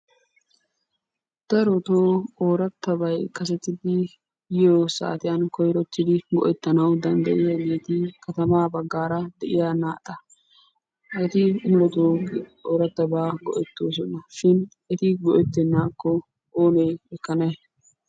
Darotoo oorattabay kasetidi yiyo saatiyan koyirottidi go'ettanawu danddayiyageeti katamaa baggaara de'iya naata. Eti muletoo oorattabaa go'ettoosonashin eti go'ettennaakko oonee ekkanay?